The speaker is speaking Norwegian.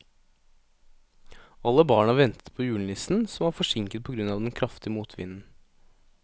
Alle barna ventet på julenissen, som var forsinket på grunn av den kraftige motvinden.